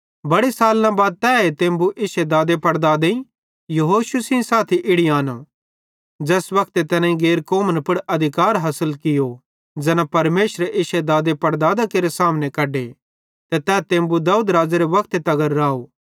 बड़े सालना बाद तैए तेम्बु इश्शे दादेपड़दादेईं यहोशू सेइं साथी इड़ी आनो ज़ैस वक्ते तैनेईं गैर कौमन पुड़ अधिकार हासिल कियो ज़ैना परमेशरे इश्शे दादेपड़दादां केरे सामने कढे ते तै तेम्बु दाऊद राज़ेरे वक्ते तगर राव